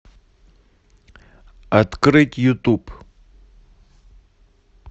открыть ютуб